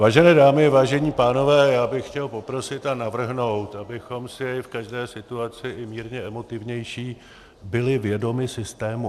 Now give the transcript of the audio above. Vážené dámy, vážení pánové, já bych chtěl poprosit a navrhnout, abychom si v každé situaci, i mírně emotivnější, byli vědomi systému.